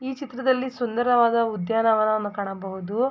ಈ ಚಿತ್ರದಲ್ಲಿ ಸುಂದರವಾದ ಉದ್ಯಾನವನವನ್ನು ಕಾಣಬಹುದು.